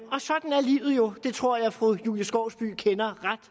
livet jo det tror jeg at fru julie skovsby kender ret